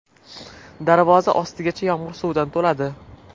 Darvoza ostigacha yomg‘ir suvidan to‘ladi.